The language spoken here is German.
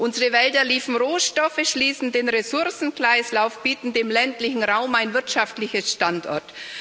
Unsere Wälder liefern Rohstoffe, schließen den Ressourcenkreislauf, bieten dem ländlichen Raum einen wirtschaftlichen Standort.